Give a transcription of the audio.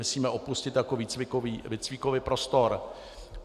Myslíme opustit jako výcvikový prostor.